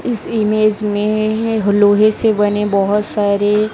इस ईमेज में लोहे से बने बोहोत सारे--